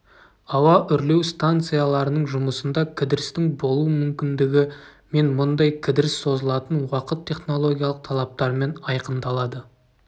ауа үрлеу станцияларының жұмысында кідірістің болу мүмкіндігі мен мұндай кідіріс созылатын уақыт технологиялық талаптармен айқындалады